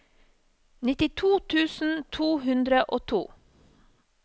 nittito tusen to hundre og to